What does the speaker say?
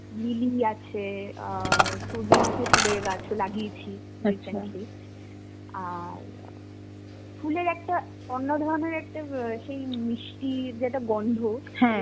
lily আছে, আ সূর্যমুখী ফুলের গাছও লাগিয়েছি আর ফুলের একটা অন্য ধরনের একটা ব সেই মিষ্টি যে একটা গন্ধ